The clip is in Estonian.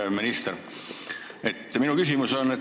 Hea minister!